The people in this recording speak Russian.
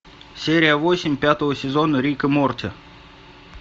серия восемь пятого сезона рика морти